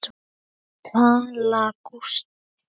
Viðtal Gústafs